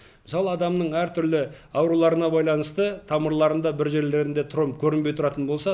мысалы адамның әртүрлі ауруларына байланысты тамырларында бір жерлерінде тромб көрінбей тұратын болса